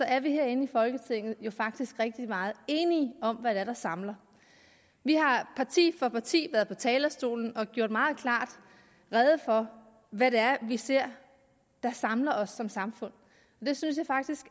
er vi herinde i folketinget jo faktisk rigtig meget enige om er der samler vi har parti for parti været på talerstolen og gjort meget klart rede for hvad det er vi ser der samler os som samfund og jeg synes faktisk